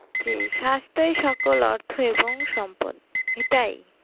জি স্বাস্থই সকল অর্থ এবং সম্পদ এটাই